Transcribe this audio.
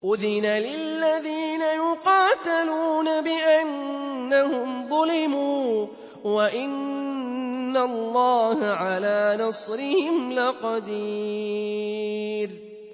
أُذِنَ لِلَّذِينَ يُقَاتَلُونَ بِأَنَّهُمْ ظُلِمُوا ۚ وَإِنَّ اللَّهَ عَلَىٰ نَصْرِهِمْ لَقَدِيرٌ